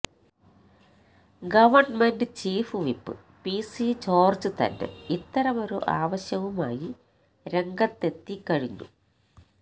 government chief whip PC George തന്നെ ഇത്തരമൊരു ആവശ്യവുമായി രംഗത്തെത്തി കഴിഞ്ഞു